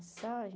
Mensagem?